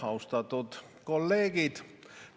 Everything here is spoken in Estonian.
Austatud kolleegid!